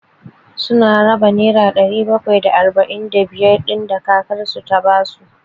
Su na raba nera ɗari bakwai da arba'in da biyar ɗin da kakan su ya ba su.